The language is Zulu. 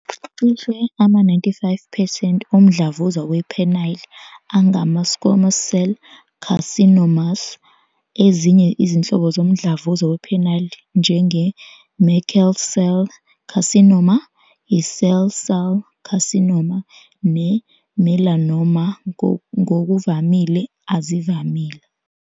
Cishe ama-95 percent omdlavuza we-penile angama- squamous cell carcinomas. Ezinye izinhlobo zomdlavuza we-penile njenge- Merkel cell carcinoma, i- cell cell carcinoma, ne- melanoma ngokuvamile azivamile.